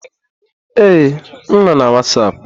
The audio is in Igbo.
Ee, m nọ na Wasapu.